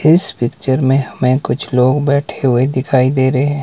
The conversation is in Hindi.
इस पिक्चर में हमें कुछ लोग बैठे हुए दिखाई दे रहे हैं।